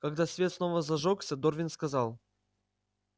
когда свет снова зажёгся дорвин сказал